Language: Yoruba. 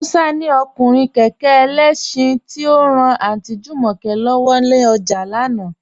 Musa ni ọkùnrin kẹkẹ ẹlẹ́ṣin, ti o ran Aunty Jumoke lọ́wọ ni ọjà lánà.